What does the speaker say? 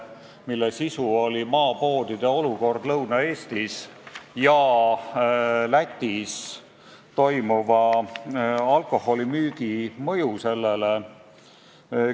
Selle sisu oli maapoodide olukord Lõuna-Eestis ja Lätis toimuva alkoholimüügi mõju sellele.